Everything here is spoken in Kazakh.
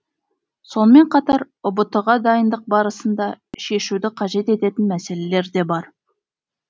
сонымен қатар ұбт ға дайындық барысында шешуді қажет ететін мәселелер де бар